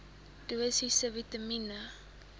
dosisse vitamien